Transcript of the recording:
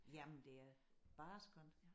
Jamen det er bare skønt